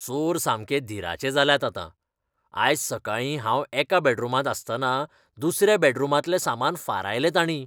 चोर सामके धीराचे जाल्यात आतां, आयज सकाळीं हांव एका बॅडरूमांत आसतना दुसऱ्या बॅडरूमांतले सामान फारायलें तांणीं. नागरीक